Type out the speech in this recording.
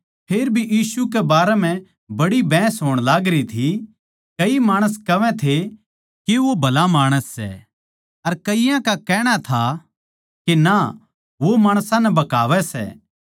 फेर भी यीशु के बारें म्ह बड़ी बहस होण लागरी थी कई माणस कहवै थे के वो भला माणस सै अर कईयाँ का कहणा था के ना वो माणसां नै बहकावै सै